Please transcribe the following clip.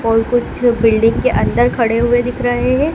और कुछ बिल्डिंग के अंदर खड़े हुए दिख रहे हैं।